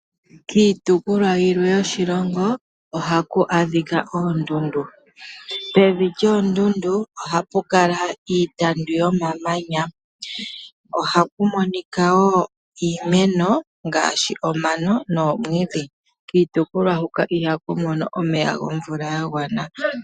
Kiitopolwa yilwe yoshilongo ohaku adhika oondundu, pevi lyoondundu ohapu kala iitandu yomamanya, ohaku monika woo iimeno ngaashi omano noomwiidhi. Kiitopolwa hoka ihaku mono omeya gomvula ga gwana.